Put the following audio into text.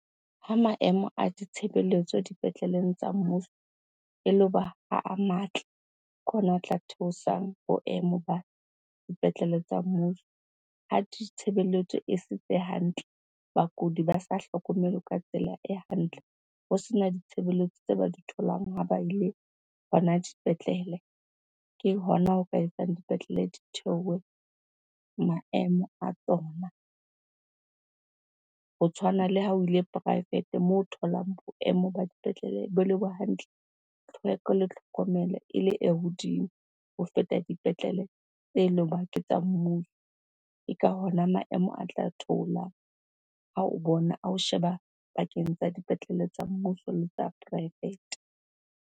Ha maemo a ditshebeletso dipetleleng tsa mmuso elo ba a matle, ke hona o tla theosang boemo ba dipetlele tsa mmuso. Ha di tshebeletso e setse hantle, bakudi ba sa hlokomelwe ka tsela e hantle, ho sena ditshebeletso tse ba di tholang ha ba ile hona dipetlele, ke hona ho ka etsang dipetlele di theohe maemo a tsona. Ho tshwana le ha o ile poraefete moo tholang boemo ba dipetlele bo le bo hantle, tlhweko le tlhokomelo ele e hodimo ho feta dipetlele tse le hoba ke tsa mmuso. Ke ka hona maemo a tla theolang ha o bona, a ho sheba pakeng tsa dipetlele tsa mmuso le tsa poraefete.